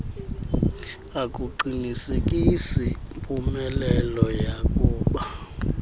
akuqinisekisi mpumelelo yakuba